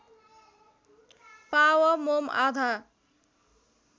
पाव मोम आधा